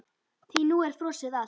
Því nú er frosið allt?